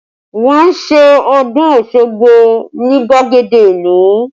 Wọn ṣe ọdún Ọ̀ṣun Osogbo ni gbagede ìlú